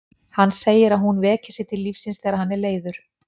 Hann segir að hún veki sig til lífsins þegar hann er leiður.